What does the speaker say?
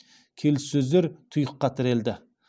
келіссөздер тұйыққа тірелді